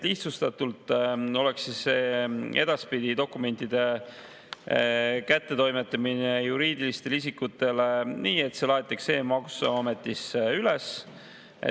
Lihtsustatult öeldes oleks edaspidi dokumentide kättetoimetamine juriidilistele isikutele nii, et need laetakse e-maksuametisse üles.